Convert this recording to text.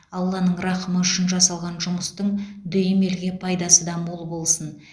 алланың рақымы үшін жасалған жұмыстың дүйім елге пайдасы да мол болсын